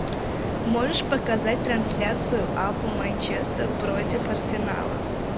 можешь показать трансляцию апл манчестер против арсенала